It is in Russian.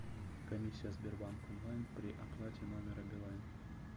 комиссия сбербанк онлайн при оплате номера билайн